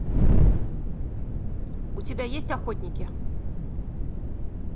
у тебя есть охотники